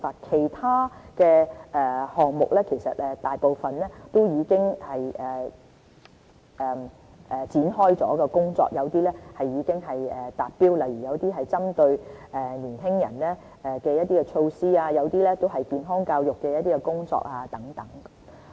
其他項目大部分亦已展開工作，有些已經達標，例如一些針對年輕人的措施和健康教育的工作等。